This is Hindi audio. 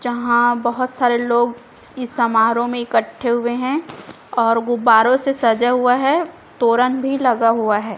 जहां बहुत सारे लोग इस समारोह में इकट्ठे हुए हैं और गुब्बारों से सजा हुआ है तोरन भी लगा हुआ है।